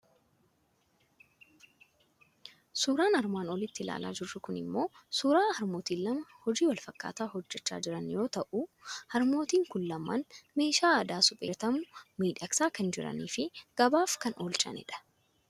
Suuraan armaan olitti ilaalaa jirru kuni immoo suuraa harmootii lama hojii wal fakkaataa hojjechaa jiranii yoo ta'u, harmootiin kun lamaan meeshaa aadaa suphee irraa hojjetamu miudhagsaa kan jiranii fi gabaaf kan oolchanidha.